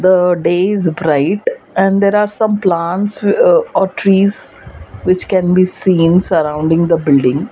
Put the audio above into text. the day is bright and there are some plants uh or trees which can be seen surrounding the building.